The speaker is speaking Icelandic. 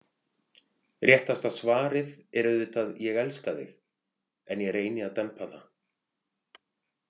Réttasta svarið er auðvitað ég elska þig, en ég reyni að dempa það.